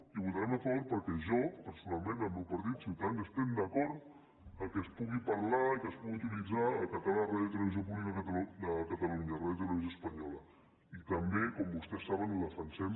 hi votarem a favor perquè jo personalment el meu partit ciutadans estem d’acord que es pugui parlar i que es pugui utilitzar el català a la ràdio i televisió pública de catalunya radiotelevisió espanyola i també com vostès saben ho defensem